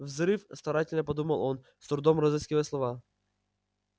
взрыв старательно подумал он с трудом разыскивая слова